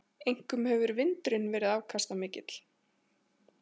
Einkum hefur vindurinn verið afkastamikill.